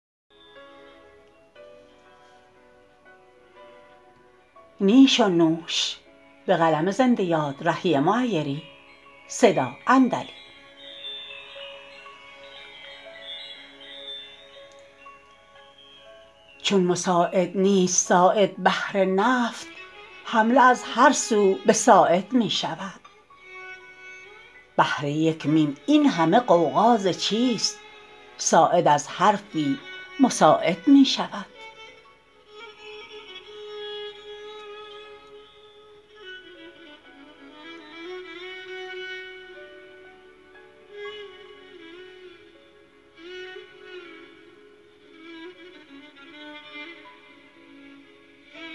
چون مساعد نیست ساعد بهر نفط حمله از هر سو به ساعد می شود بهر یک میم این همه غوغا ز چیست ساعد از حرفی مساعد می شود